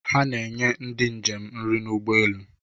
Ha na-enye ndị njem nri n'ụgbọelu